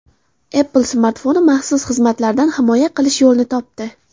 Apple smartfonni maxsus xizmatlardan himoya qilish yo‘lini topdi.